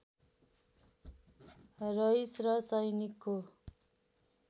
रइस र सैनिकको